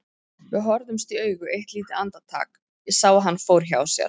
Við horfðumst í augu eitt lítið andartak, ég sá að hann fór hjá sér.